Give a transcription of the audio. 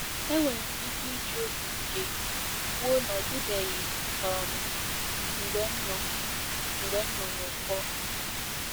Enwere m ike iji obi ike kwuo na ọ dịbeghị um mgbe m nọ mgbe m nọ n'ụkọ.